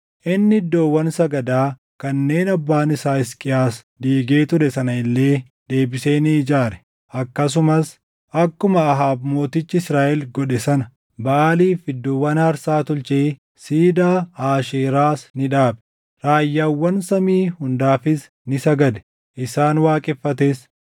Inni iddoowwan sagadaa kanneen abbaan isaa Hisqiyaas diigee ture sana illee deebisee ni ijaare; akkasumas akkuma Ahaab mootichi Israaʼel godhe sana Baʼaaliif iddoowwan aarsaa tolchee siidaa Aasheeraas ni dhaabe. Raayyaawwan samii hundaafis ni sagade; isaan waaqeffates.